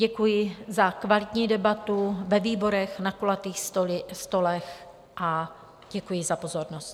Děkuji za kvalitní debatu ve výborech, na kulatých stolech a děkuji za pozornost.